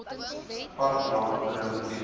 park lane perimeter